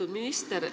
Lugupeetud minister!